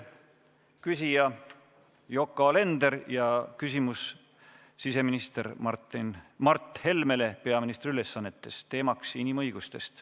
Küsija on Yoko Alender, küsimus on siseminister Mart Helmele peaministri ülesannetes ja teemaks on inimõigused.